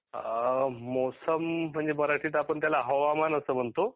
हा मोसम म्हणजे मराठीत आपण त्याला हवामान असे म्हणतो